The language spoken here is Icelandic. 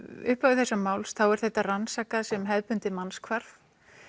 upphafi þessa máls er þetta rannsakað sem hefðbundið mannshvarf